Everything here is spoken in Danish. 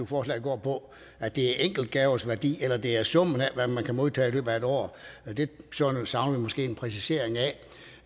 forslag går på at det er enkeltgavers værdi eller om det er summen af hvad man kan modtage i løbet af et år det savner vi måske en præcisering